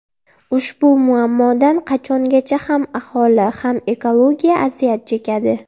Ushbu muammodan qachongacha ham aholi, ham ekologiya aziyat chekadi?